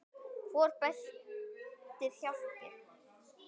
Hvort beltið hjálpi?